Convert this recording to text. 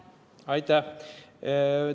Aitäh!